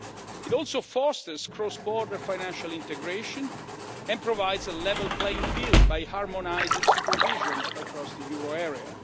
It also fosters cross border financial integration and provides a level playing field by harmonising supervision across the euro